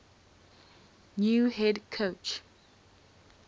new head coach